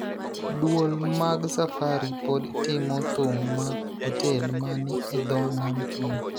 Duol mag Safari pod timo thum mag otel ma ni e dho nam chumbi